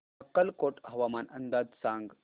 अक्कलकोट हवामान अंदाज सांग